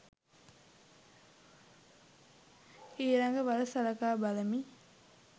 ඊළඟ වර සලකා බලමි.